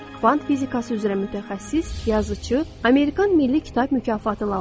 Kvant fizikası üzrə mütəxəssis, yazıçı, Amerikan Milli Kitab Mükafatı laureatı.